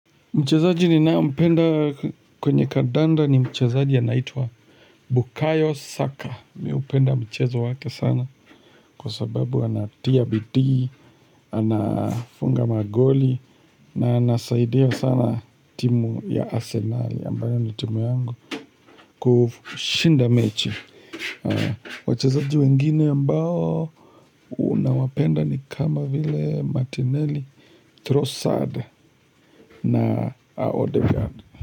Mchezaji ninayompenda kwenye kadanda ni mchezaji anaitwa Bukayos. Saka. Mi hupenda mchezo wake sana kwa sababu anatia bidii, anafunga magoli na anasaidia sana timu ya Arsenali ambayo ni timu yangu kushinda mechi. Wachezaji wengine ambao nawapenda ni kama vile Martinelli, Trossard na Odegaard.